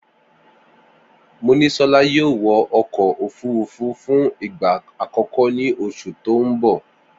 Monísolá yóò wọ ọkọ̀ òfúrufú fún ìgbà àkọ́kọ́ ní oṣù tó ń bọ̀